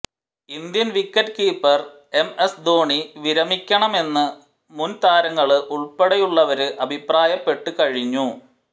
Indian wicket keeper M S Dhoni വിരമിക്കണമെന്ന് മുന് താരങ്ങള് ഉള്പ്പെടെയുള്ളവര് അഭിപ്രായപ്പെട്ടു കഴിഞ്ഞു